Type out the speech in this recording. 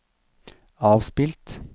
avspilt